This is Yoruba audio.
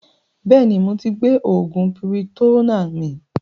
Bẹ́ẹ̀ni moti gbé oògùn piritonnáà mi